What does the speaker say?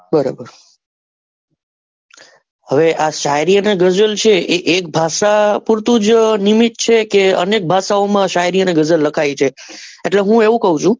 બરોબર હવે આ શાયરી અને ગઝલ છે એ એક ભાષા પુરતું નિમિત છે કે અનેક ભાષા ઓ માં શાયરી અને ગઝલ લખાય છે એટલે હું એવું છું.